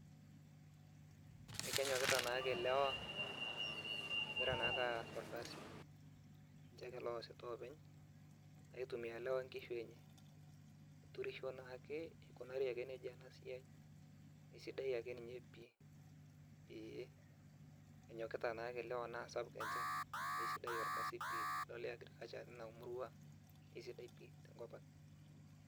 Ekenyokita naake elewa, egira ake aas orkasi, etii ake loasita openy neitumia nkishu enye nikunari ake nejia enasiaiesidai ake nye pii enyokita ake lewa na sidai orkasai pii tenidol agriculture tinamurua na kesidai pii tina murua.